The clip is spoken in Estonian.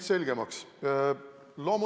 Jürgen Ligi, täpsustav küsimus, palun!